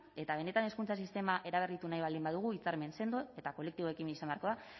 eta benetan hezkuntza sistema eraberritu nahi baldin badugu hitzarmen sendo eta kolektiboekin izan beharko da